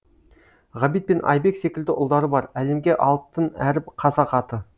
ғабит пен айбек секілді ұлдары бар әлемге алтын әріп қазақ аты